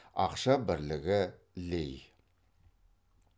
ақша бірлігі лей